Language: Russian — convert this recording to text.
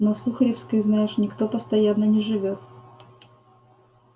на сухаревской знаешь никто постоянно не живёт